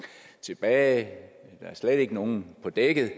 tilbage der er slet ikke nogen på dækket